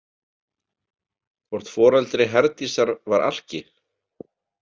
Hvort foreldri Herdísar var alki?